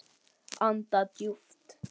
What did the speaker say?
Anda djúpt.